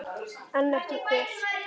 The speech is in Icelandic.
En ekki hver?